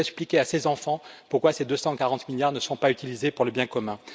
Qui peut expliquer à ces enfants pourquoi ces 240 milliards ne seront pas utilisés pour le bien commun?